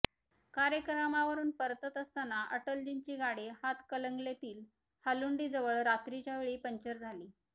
कार्यक्रमावरून परतत असताना अटलजींची गाडी हातकणंगलेतील हालुंडीजवळ रात्रीच्या वेळी पंक्चर झाली